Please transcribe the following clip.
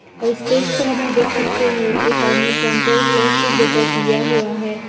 और स्टेज पर हम लोग देख सकते है एक आदमी सैंटा क्लॉज़ के गेटअप लिया हुआ है।